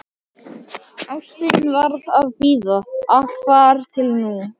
Ástin varð að bíða, allt þar til nú.